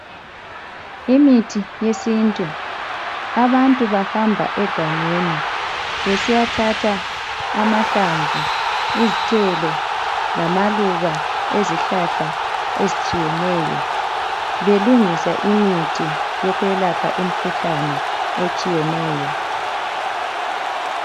imithi yesintu abantu abhamba egangeni besiyathatha amahlamvu izithelo lamaluba ezihlahla ezitshiyeneyo belungisa imithi yokwelapha imikhuhlane esthiyeneyo